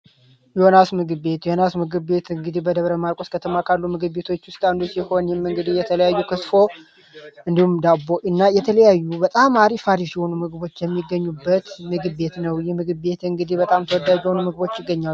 ዮናስ ምግብ ቤት ምግብ ቤት እንግዲህ በደብረ ማርቆስ ከተማ ካሉ ንግግር የተለያዩ እንዲሁም ዳቦ እና የተለያዩ በጣም ምግቦች የሚገኙበት ምግብ ቤት ነው የምግብ ቤት እንግዲህ ይገኛል